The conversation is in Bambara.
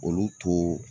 Olu to